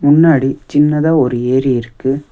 முன்னாடி சின்னதா ஒரு ஏரி இருக்கு.